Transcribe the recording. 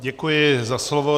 Děkuji za slovo.